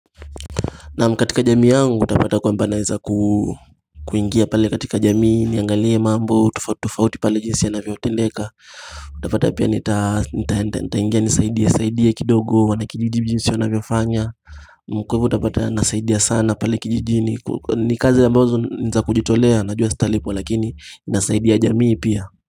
Naam katika jamii yangu utapata kwa mbanaeza kuingia pale katika jamii niangalie mambo tofauti tofauti pale jinsi ya navyotendeka Utapata pia nita ingia nisaidia kidogo wanakijiji jinsi wa navyofanya kwa hivo utapata nasaidia sana pale kijijini ni kazi a mbazo niza kujitolea najua sitalipwa lakini inasaidia jamii pia.